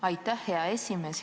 Aitäh, hea esimees!